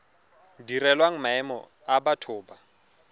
direlwang maemo a batho ba